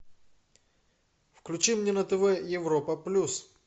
включи мне на тв европа плюс